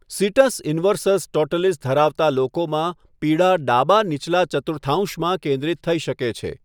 Sitz inversus totalis ધરાવતા લોકોમાં પીડા ડાબા નીચલા ચતુર્થાંશમાં કેન્દ્રિત થઇ શકે છે.